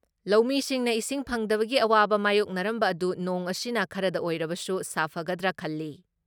ꯂꯧꯃꯤꯁꯤꯡꯅ ꯏꯁꯤꯡ ꯐꯪꯗꯕꯒꯤ ꯑꯋꯥꯕ ꯃꯥꯌꯣꯛꯅꯔꯝꯕ ꯑꯗꯨ ꯅꯣꯡ ꯑꯁꯤꯅ ꯈꯔꯗ ꯑꯣꯏꯔꯕꯁꯨ ꯁꯥꯐꯒꯗ꯭ꯔꯥ ꯈꯜꯂꯤ ꯫